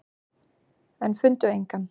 En fundu engan.